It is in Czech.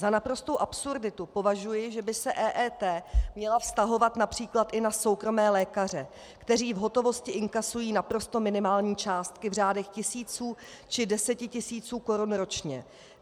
Za naprostou absurditu považuji, že by se EET měla vztahovat například i na soukromé lékaře, kteří v hotovosti inkasují naprosto minimální částky v řádech tisíců či desetitisíců korun ročně.